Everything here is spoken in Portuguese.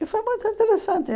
E foi muito interessante.